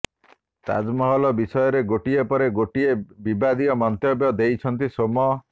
ତାଜମହଲ ବିଷୟରେ ଗୋଟିଏ ପରେ ଗୋଟିଏ ବିବାଦିୟ ମନ୍ତବ୍ୟ ଦେଇଛନ୍ତି ସୋମ୍